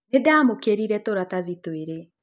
Nĩ ndaamũkĩrire tũratathi twĩrĩ,